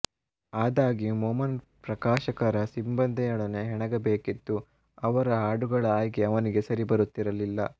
ಆದಾಗ್ಯೂ ಮೊಮನ್ ಪ್ರಕಾಶಕರ ಸಿಬ್ಬಂದಿಯೊಡನೆ ಹೆಣಗಬೇಕಿತ್ತು ಅವರ ಹಾಡುಗಳ ಆಯ್ಕೆ ಅವನಿಗೆ ಸರಿಬರುತ್ತಿರಲಿಲ್ಲ